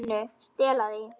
MÍNU. Stela því?